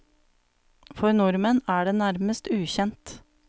For nordmenn er den nærmest ukjent.